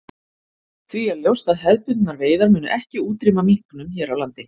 Því er ljóst að hefðbundnar veiðar munu ekki útrýma minknum hér á landi.